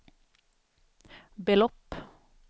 belopp